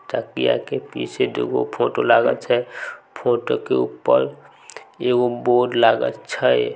तकिया के पीछे दू गो फोटो लागल छै फोटो के ऊपर एगो बोर्ड लागल छै।